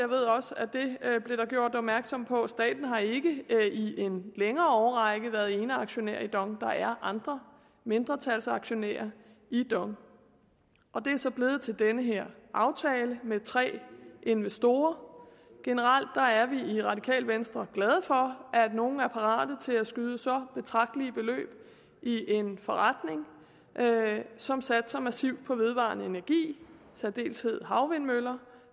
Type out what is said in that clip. ved også at det blev der gjort opmærksom på at staten i en længere årrække været eneaktionær i dong der er andre mindretalsaktionærer i dong og det er så blevet til den her aftale med tre investorer generelt er vi i radikale venstre glade for at nogle er parate til at skyde så betragtelige beløb i en forretning som satser massivt på vedvarende energi i særdeleshed havvindmøller